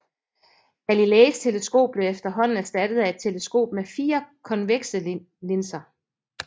Galileis teleskop blev efterhånden erstattet af et teleskop med fire konvekse linser